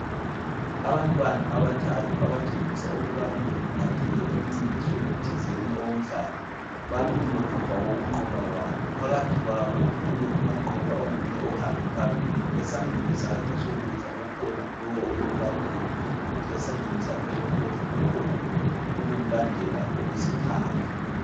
Abantwana abathathu abatshengisa ukubana bebephatheke emncintisweni thizeni owomdlalo, bamile ngemva kokunqoba kwabo. Phakathi kwabo kumile umanqoba onguye ohambe phambili. Esandleni sakhe sokudla kukhona lowo obemlandela kuthi esandleni sakhe sokhohlo kukhona obemlandela okwesithathu.